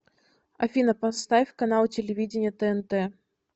афина поставь канал телевидения тнт